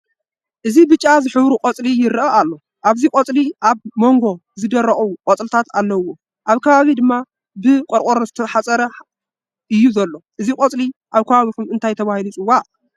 እዚ ብጫ ዝሕብሩ ቆፅሊ ይረአ ኣሎ። ኣብዚ ቆፅሊ ኣብ ሞንጎ ዝደረቆ ቆፅልታት ኣለውዎ። ኣብ ከባቢ ድማ ብ ቆርቀሮ ዝተሓፀረ እዩ ዘሎ። እዚ ቆፅሊ ኣብ ከባቢኩም እንታይ ተባሂሉ ይፅዋዕ?